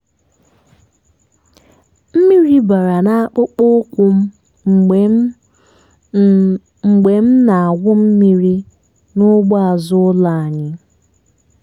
mmiri bara n'akpụkpọ ụkwụ m mgbe m m mgbe m na-awụ mmiri n'ugbo azụ ụlọ anyị.